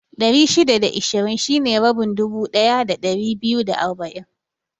Ɗari shida da ishirin shine rabin dubu ɗaya da ɗari biyu da arba'in